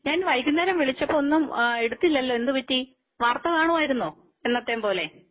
ഞാൻ വൈകുന്നേരം വിളിച്ചപ്പോൾ ഒന്നും എടുത്തില്ലല്ലോ. എന്ത് പറ്റി വാർത്ത കാണുമായിരുന്നോ എന്നത്തെയും പോലെ